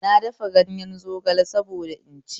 Na dafa ganyen zogale saboda in ci